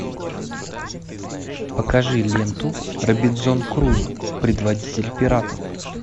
покажи ленту робинзон крузо предводитель пиратов